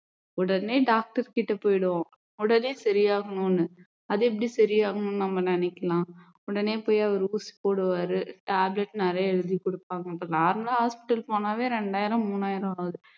உடனே doctor கிட்ட போயிடுவோம் உடனே சரியாகணும்னு அது எப்படி சரியாகணும்னு நம்ம நினைக்கலாம் உடனே போய் அவர் ஊசி போடுவாரு tablet நிறைய எழுதிக் கொடுப்பாங்க இப்போ normal லா hospital போனாலே ரெண்டாயிரம் மூணாயிரம் ஆகுது